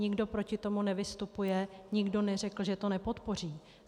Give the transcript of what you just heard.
Nikdo proti tomu nevystupuje, nikdo neřekl, že to nepodpoří.